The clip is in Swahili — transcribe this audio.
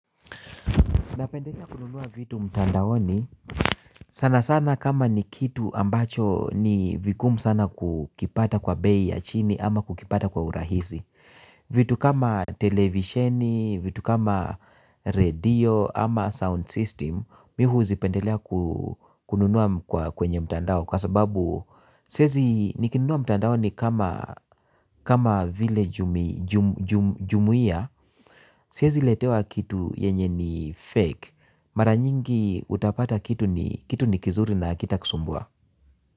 Napendelea kununua vitu mtandaoni sana sana kama ni kitu ambacho ni vigumu sana kukipata kwa bei ya chini ama kukipata kwa urahizi. Vitu kama televisheni, vitu kama radio ama sound system, mi huzipendelea kununua kwenye mtandao. Kwa sababu, siezi nikinunua mtandaoni kama vile jumuia, siezi letewa kitu yenye ni fake. Mara nyingi utapata kitu ni kitu ni kizuri na hakitakusumbua.